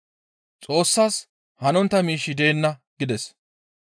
Xoossas hanontta miishshi deenna» gides.